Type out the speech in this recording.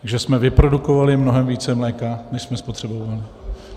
Takže jsme vyprodukovali mnohem více mléka, než jsme spotřebovali.